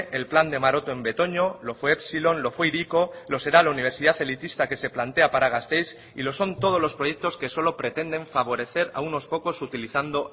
el plan de maroto en betoño lo fue epsilon lo fue hiriko lo será la universidad elitista que se plantea para gasteiz y lo son todos los proyectos que solo pretenden favorecer a unos pocos utilizando